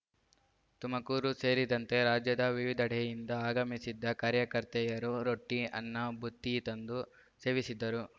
ತುಮಕೂರು ಸೇರಿದಂತೆ ರಾಜ್ಯದ ವಿವಿಧೆಡೆಯಿಂದ ಆಗಮಿಸಿದ್ದ ಕಾರ್ಯಕರ್ತೆಯರು ರೊಟ್ಟಿ ಅನ್ನ ಬುತ್ತಿ ತಂದು ಸೇವಿಸಿದರು